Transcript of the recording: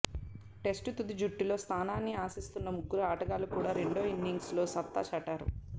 test తుది జట్టులో స్థానాన్ని ఆశిస్తున్న ముగ్గురు ఆటగాళ్లు కూడా రెండో ఇన్నింగ్స్లో సత్తా చాటారు